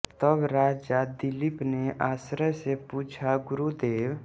तब राजा दिलीप ने आश्चर्य से पूछा गुरुदेव